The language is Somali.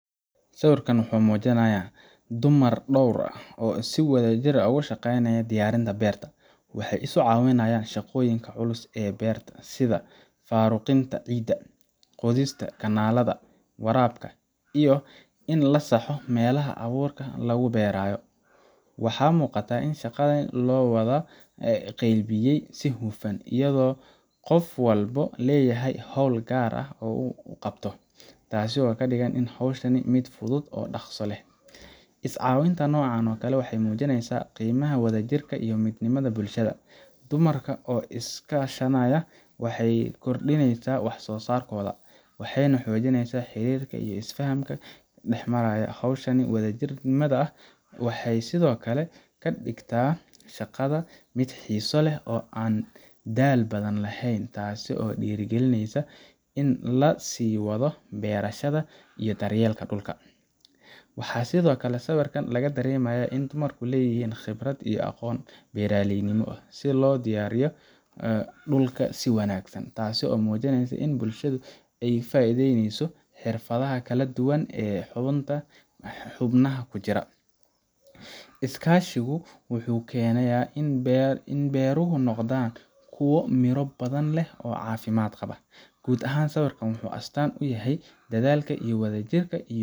Sawirkan waxa uu muujinayaa dumar dhowr ah oo si wadajir ah uga shaqaynaya diyaarinta beer. Waxay isu caawinayaan shaqooyinka culus ee beeraha, sida faaruqinta ciidda, qodista kanaalada waraabka, iyo in la saxo meelaha abuurka lagu beerayo. Waxa muuqata in shaqada loo wada qaybiyey si hufan, iyadoo qof walba leeyahay hawl gaar ah oo uu qabto, taasoo ka dhigaysa hawsha mid fudud oo dhakhso leh. Is-caawinta noocan ah waxay muujinaysaa qiimaha wadajirka iyo midnimada bulshada. Dumarka oo iska kaashanaya waxay kordhinayaan wax-soosaarkoda, waxayna xoojinayaan xiriirka iyo is-fahamka dhexmara. Hawshan wadajirka ahi waxay sidoo kale ka dhigtaa shaqada mid xiiso leh oo aan daal badan lahayn, taasoo dhiirrigelisa in la sii wado beerashada iyo daryeelka dhulka. Waxaa sidoo kale sawirkan laga dareemayaa in dumarku leeyihiin khibrad iyo aqoon beeraleynimo, sida loo diyaarsho dhulka si wanaagsan, taasoo muujinaysa in bulshada ay ka faa’iideysanayso xirfadaha kala duwan ee xubnaha ku jira. Iskaashigaasi wuxuu keenayaa in beeruhu noqdaan kuwo miro badan leh oo caafimaad qaba. Guud ahaan, sawirkan waxa uu astaan u yahay in dadaalka wadajirka ah iyo